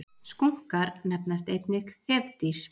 Skunkar nefnast einnig þefdýr.